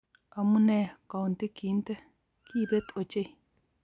Amunee kounti kintee. Kiibet ochei.